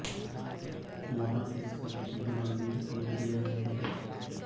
वहां के सब हिन्दू मंदिर तोड दिए गए हैं